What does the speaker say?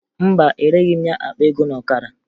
Mba, ereghi m ya akpa ego na ọkara